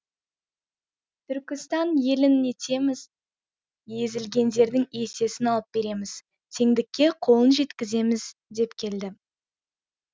түркістан елін ел етеміз езілгендердің есесін алып береміз теңдікке қолын жеткіземіз деп келді